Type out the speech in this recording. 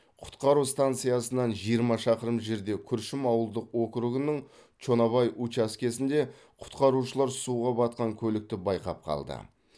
құтқару станциясынан жиырма шақырым жерде күршім ауылдық округінің чонобай учаскесінде құтқарушылар суға батқан көлікті байқап қалды